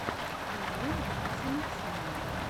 нарой макса максимова